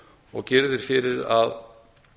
og gerður fyrir að